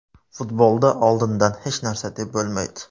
Futbolda oldindan hech narsa deb bo‘lmaydi.